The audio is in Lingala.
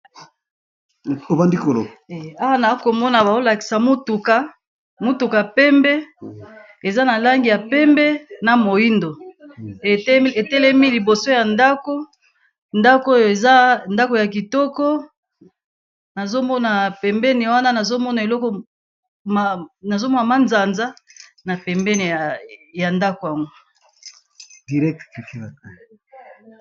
Awa nalikomona baolakisa mutuka ya pembe eza nalangi ya pembe na moindo etelemi liboso yandako yakitoko nazomona pembini wana nazomona manzanza na mbeni nango